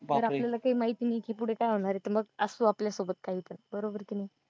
पर आपल्यला काय माहीत नाही पुढे काय होणार आहे ते मग असू आपल्या सोबत काही पण बरोबर कि नाही